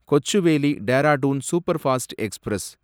Kochuveli Dehradun superfast express